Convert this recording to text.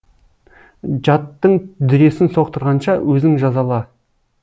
жаттың дүресін соқтырғанша өзің жазала